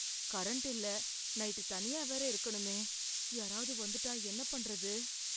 Current இல்ல night தனியா வேற இருக்கணுமே? யாராவது வந்துட்டா என்ன பண்றது?